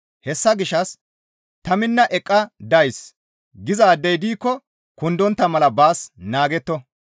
Hessa gishshas ta minna eqqa days gizaadey diikko kundontta mala baas naagetto.